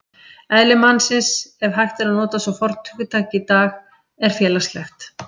Eðli mannsins, ef hægt er að nota svo fornt hugtak í dag, er félagslegt.